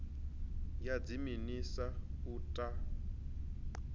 ya dziminis a u ta